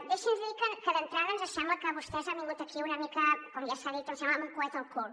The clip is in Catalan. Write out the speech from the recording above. deixi’ns dir que d’entrada ens sembla que vostès han vingut aquí una mica com ja s’ha dit em sembla amb un coet al cul